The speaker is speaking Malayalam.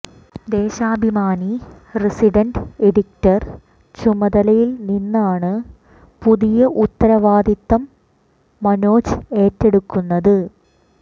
ദേശാഭിമാനി റസിഡന്റ് എഡിറ്റർ ചുമതലയിൽ നിന്നാണ് പുതിയ ഉത്തരവാദിത്തം മനോജ് ഏറ്റെടുക്കുന്നത്